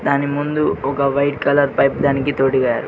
దాని ముందు ఒక వైట్ కలర్ పైప్ దానికి తోడిగారు.